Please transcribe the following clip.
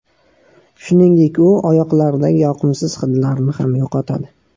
Shuningdek u oyoqlardagi yoqimsiz hidlarni ham yo‘qotadi.